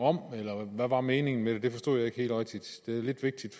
om eller hvad var meningen med det det forstod jeg ikke rigtig det er lidt vigtigt